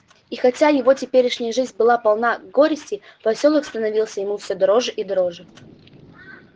и хотя его теперешняя жизнь была полна горестей посёлок становился ему все дороже и дороже